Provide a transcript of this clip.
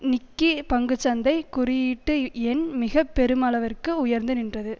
நிக்கி பங்கு சந்தை குறியீட்டு எண் மிக பெருமளவிற்கு உயர்ந்து நின்றது